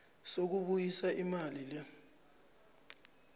sokubuyisa imali le